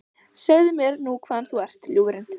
Segðu mér nú hvaðan þú ert, ljúfurinn?